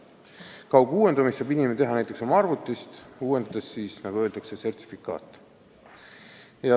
Kauguuendamist saab inimene teha näiteks oma arvutist, uuendades sertifikaate, nagu öeldakse.